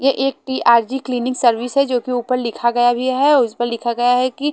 यह एक TRG cleaning service है जो की ऊपर लिखा गया भी है और उस पे लिखा गया है कि--